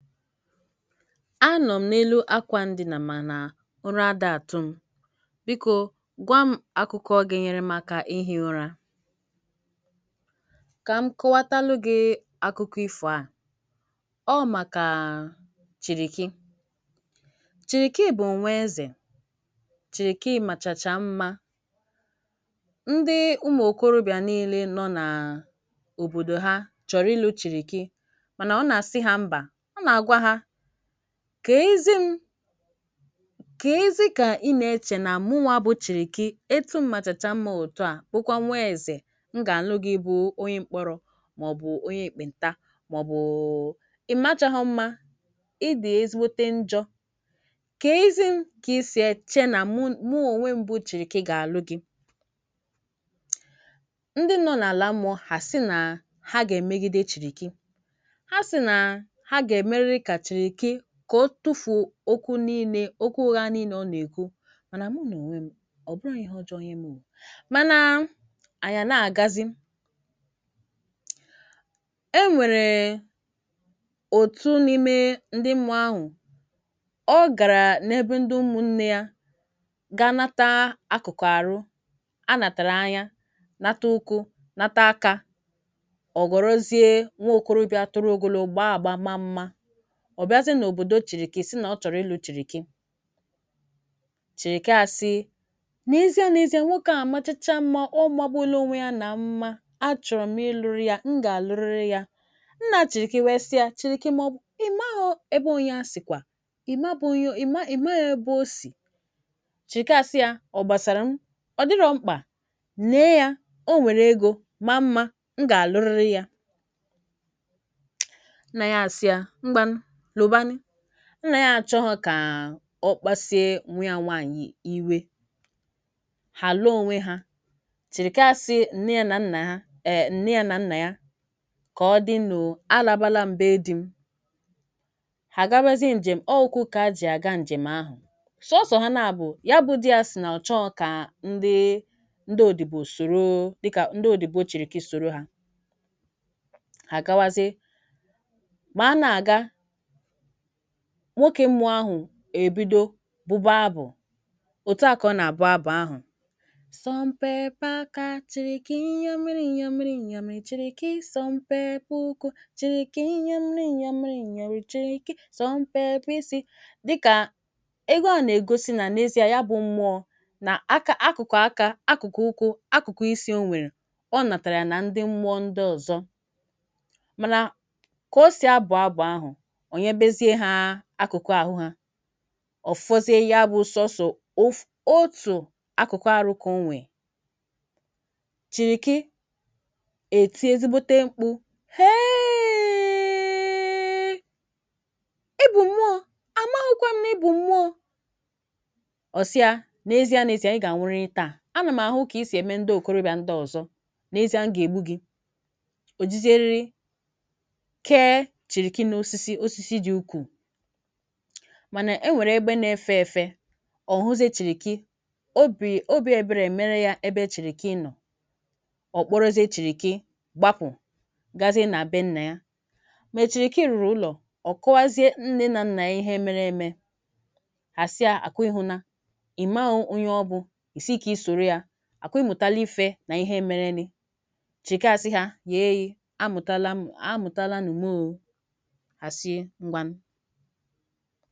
A nọ m n’elu akwa ndinà, mana ụra ada atụ m. Biko, gwa m akụkọ ga-enyere m aka ihi ụra. Ka m kọwatalu gị akụkọ ifụa: Ọ bụ maka Chiriki – Chiriki bụ nwa eze, Chiriki machacha mma! Ndị ụmụ okorobịa niile nọ n’obòdo ha chọ̀rọ ilụ Chiriki mana ọ na-asị ha mba. Ọ n'agwa ha, k'ezị m k'ezi ka ina eche na mụnwa bụ Chiriki etu m machacha mma otu a, bụkwa nwa eze, m ga-alụ gị bụ onye mkpọrọ, ma-ọbụ onye ekpe nta, ma-ọbụ ịmachaghị mma ịdị ezigbote njọ? Ka e zị m ka isi eche na mụ onwe m bụ Chiriki ga-alụ gị? Ndi nọ n'ala mmụọ ha sị na ha g'emegide Chiriki. Ha sị na ha g'emerịrị ka Chiriki ka ọ tufuo okwu niile, okwu ụgha niile ọ n'ekwu, mana m n'onwe m, ọbụghị ihe ọjọọ nye m o, mana anyị a n'agazi. E nwere otu n'ime ndị mmụọ ahụ, ọ gara n’ebe ndi ụmụnne ya ga nata: Akụkụ arụ, Anatara anya, nata ụkwụ, nata aka, ọ ghọrọzie nwa okòròbịa toro ogologo gbaa agba maa mma. Ọ bịazie n’ọbòdo Chiriki sị na ọ chọ̀rọ ịlụ Chirikii. Chiriki asị: n’ezie n'ezie nwoke a machacha mma ọmagbuola onwe ya na mma, achọ̀rọ m ịlụ ya, m ga-alụrịrị ya. Nna Chiriki wee sị ya, Chiriki imaghị ebe onye a sikwa, ịmaghị ebe o si. Chiriki asị ya, ọ gbasara m, ọdịro mkpa. Lee ya, o nwere ego ma mma m ga-alụrịrị ya. Nna ya asị ya, ngwanụ lụbanụ, nna ya achọghị n ka ọkpasuo nwa ya nwanyị iwe. Ha lụọ onwe ha. Chịrịka asi nne ya na nna ya ka ọ dịnuo, a làbala m be dị m, ha agabazịe njem, ọ ukwu ka ajị aga. Njem ahụ, sọọsọ ha na-abụ ya. Ndị o dọba soro dịka ndị o dọba Chịrịkị soro ha. Ha agawazị, nwoke mmụọ ahụ e bidoro: Abụ uto, akụ na-abụ abụ, Sọ mpepe aka Chịrị ike inyè miri, inyè miri, inyà, Maọbụ ịchịrị ike isọ mpepe ọkụ. Chịrị ike inye m, inye m, inyorị, Chịrị ike, sọ mpepe isi dị ka ego. A na-egosi na n’ezie, ya bụ mmụọ, na aka: Akụkụ aka, Akụkụ ọkụ, Akụkụ isi. O nweere, kpọrọ natara ndị mmụọ ndị ọzọ, mana ọ fọzie, ya bụ sosọ otu akụkụ. Arụkọ, o nweere! Chịrịkị eti, ezigbote mkpụ! Heeee! Ebụ mụọ amakwụkwọ, m na-ebụ mụọ ọsia. N’ezi, n’ezị a, a ga-anwụrị taa! Anam ahụ ka i si eme ndị okorobịa ndị ọzọ. N’ezi a, m ga-egbu gị òjịzere! Mana e nweere ebe na-efe efe. Ọhụzị, Chịrịkị obi, obịbere mere ya ebe Chịrịkị nọ, ọ̀ kpọrọzie Chịrịkị gbapụ, gazie na-abịa nna ya. Ma Chịrịkị rụrụ ụlọ, Ọ kọwazie nne na nna ya ihe mere eme. Asị: Ákụ ihu na ị ma onye ọ bụ? Ị si ka i soro ya? Ákụ ịmụtaali ihe na ihe mere. Chịrịkị asị: ha yèe ya, mụtaala m! A mụtaala! N’ụmụ fèrè, wedrigo oge, na-ekwata onye, ọn’dagè ihe dị!